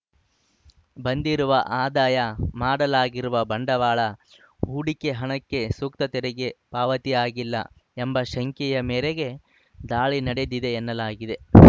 ಬಂದಿರುವ ಆದಾಯ ಮಾಡಲಾಗಿರುವ ಬಂಡವಾಳ ಹೂಡಿಕೆ ಹಣಕ್ಕೆ ಸೂಕ್ತ ತೆರಿಗೆ ಪಾವತಿಯಾಗಿಲ್ಲ ಎಂಬ ಶಂಕೆಯ ಮೇರೆಗೆ ದಾಳಿ ನಡೆದಿದೆ ಎನ್ನಲಾಗಿದೆ